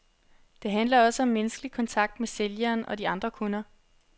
Det handler også om menneskelig kontakt med sælgeren og de andre kunder.